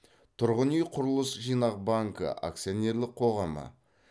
тұрғын үй құрылыс жинақ банкі акционерлік қоғамы